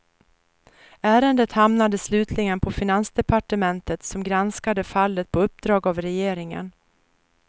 Ärendet hamnade slutligen på finansdepartementet som granskade fallet på uppdrag av regeringen.